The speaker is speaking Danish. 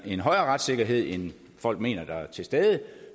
en højere retssikkerhed end folk mener der er til stede